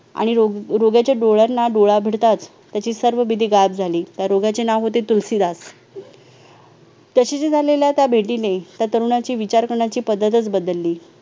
आणि रोग-रोग्याच्या डोळ्यांना डोळ्या भिडताच त्याची सर्व भीती गायब झाली त्या रोग्याचे नाव होते तुलसीदास तशी ती झालेल्या त्या भेटीने त्या तरुणांची विचार कण्याची पद्धतच बदलली